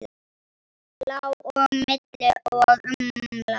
Lá á milli og umlaði.